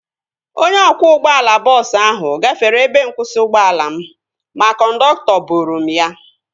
Onye ọkwọ ụgbọala bọọsu ahu gafere ebe nkwụsị ụgbọala m ma kọndọktọ boro m ya